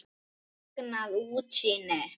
Magnað útsýni!